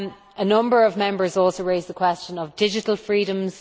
A number of Members also raised the question of digital freedoms.